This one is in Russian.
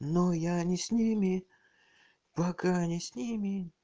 но я не с ними пока не с ними